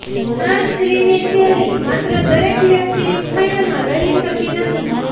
આ સ્ત્રીની શૈલી માત્ર દરેક વ્યક્તિની છાયામાં રહી શકી નથી